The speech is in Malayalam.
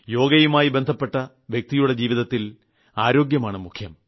യോഗയുമായി ബന്ധപ്പെട്ട വ്യക്തിയുടെ ജീവിതത്തിൽ അരോഗ്യമാണ് മുഖ്യം